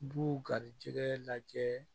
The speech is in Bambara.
B'u garijɛgɛ lajɛ